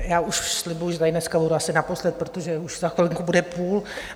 Já už slibuji, že tady dneska budu asi naposled, protože už za chvilinku bude půl.